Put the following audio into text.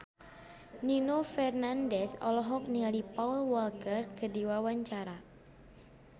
Nino Fernandez olohok ningali Paul Walker keur diwawancara